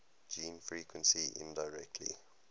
gene frequency indirectly